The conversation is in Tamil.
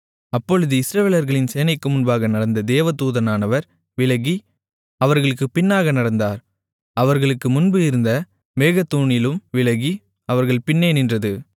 அப்பொழுது இஸ்ரவேலர்களின் சேனைக்கு முன்னாக நடந்த தேவதூதனானவர் விலகி அவர்களுக்குப் பின்னாக நடந்தார் அவர்களுக்கு முன்பு இருந்த மேகத்தூணிலும் விலகி அவர்கள் பின்னே நின்றது